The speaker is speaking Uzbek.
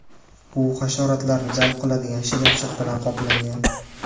U hasharotlarni jalb qiladigan shilimshiq bilan qoplangan.